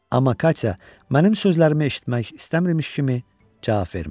Amma Katya, mənim sözlərimi eşitmək istəmirmiş kimi cavab vermədi.